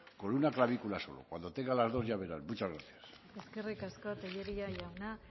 con una clavícula solo cuando tenga las dos ya verán muchas gracias eskerrik asko tellería jauna